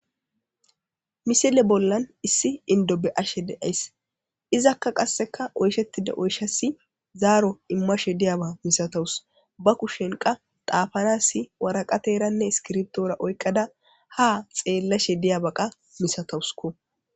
Missile bollan issi inddo be'she deaysi izzaka qase oyshshetida oyshas zaaro imashshe diyaba masatawusu ba kushshen qa xafanas waraqatarane issikirptora oyqqada ha xellashe diyabba masatawusukko.